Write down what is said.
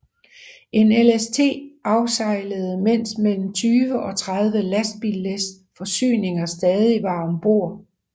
En LST afsejlede mens mellem 20 og 30 lastbillæs forsyninger stadig var om bord